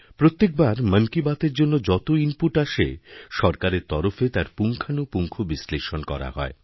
প্রত্যেক বার মন কি বাতএরজন্য যত ইনপুট আসে সরকারের তরফে তার পুঙ্খানুপুঙ্খ বিশ্লেষণ করা হয়